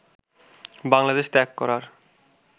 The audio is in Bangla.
বাংলাদেশ ত্যাগ করার